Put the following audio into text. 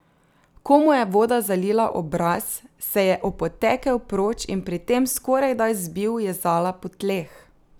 Ko mu je voda zalila obraz, se je opotekel proč in pri tem skorajda zbil Jezala po tleh.